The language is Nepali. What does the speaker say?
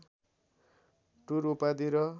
टुर उपाधि र